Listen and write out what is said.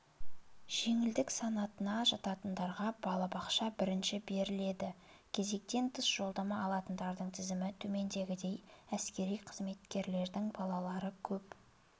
жеңілдік санатына жататындарға балабақша бірінші беріледі кезектен тыс жолдама алатындардың тізімі төмендегідей әскери қызметкерлердің балалары көп